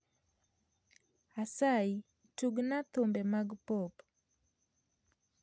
Asayi tugna thumbe mag pop